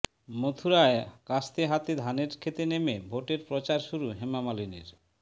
মথুরায় কাস্তে হাতে ধানের ক্ষেতে নেমে ভোটের প্রচার শুরু হেমা মালিনীর